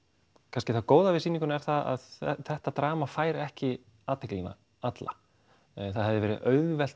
kannski það góða við sýninguna er að þetta drama fær ekki athyglina alla það hefði verið auðvelt